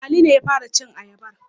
Ali ne ya fara cin ayabar.